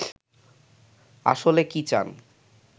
আসলে কি চান